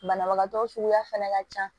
Banabagatɔ suguya fɛnɛ ka ca